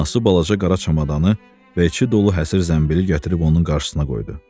Anası balaca qara çamadanı və içi dolu həsir zəmbili gətirib onun qarşısına qoydu.